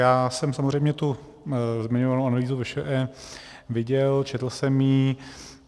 Já jsem samozřejmě tu zmiňovanou analýzu VŠE viděl, četl jsem ji.